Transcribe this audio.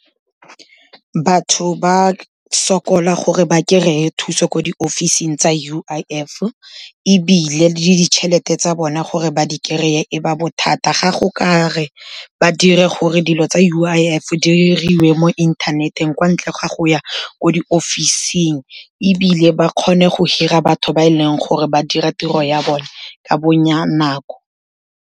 Batho ba sokola gore ba kry-e thuso ko di-office-ing tsa U_I_F ebile le ditšhelete tsa bona gore ba di kry-e e ba bothata. Ga go ka re ba dire gore dilo tsa U_I_F diriwe mo inthaneteng kwa ntle ga go ya ko di-office-ing, ebile ba kgone go hira batho ba e leng gore ba dira tiro ya bone ka .